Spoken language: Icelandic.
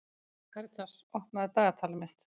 Karitas, opnaðu dagatalið mitt.